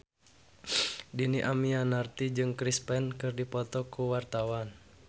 Dhini Aminarti jeung Chris Pane keur dipoto ku wartawan